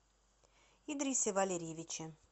идрисе валерьевиче